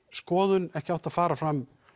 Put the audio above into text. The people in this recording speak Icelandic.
skoðun ekki átt að fara fram